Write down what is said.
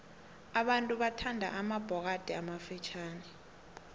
abantu bathanda amabhokathi amafitjhani